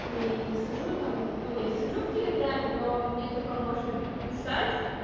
нет я не сижу там ну я сижу в телеграме но мне только можно писать